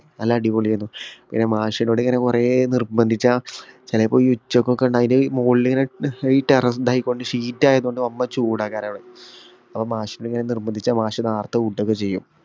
നല്ല അടിപൊളിയെനു പിന്നെ മാഷെനോടി ഇങ്ങനെ കൊറേ നിർബന്ധിച്ച ചേലേപ്പോ ഈ ഉച്ചക്കൊക്കെ ഇണ്ടാ അയിന് മോളിൽ ഇങ്ങനെ ഏർ ഈ ടെറർ ഇതായികൊണ്ട് sheet ആയതൊണ്ട് വമ്പൻ ചൂടാ കാരണവിടെ അപ്പൊ മാഷിനെ ഇങ്ങനെ നിർബന്ധിച്ച മാഷ് നേരത്തെ വിടുവൊക്കെ ചെയ്യും